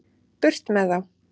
Burt með þá.